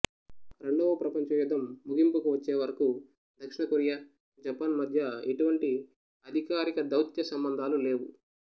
రెండవప్రపంచ యుద్ధం ముగింపుకు వచ్చే వరకు దక్షిణ కొరియా జపాన్ మధ్య ఎటువంటి అధికారిక దౌత్యసంబంధాలు లేవు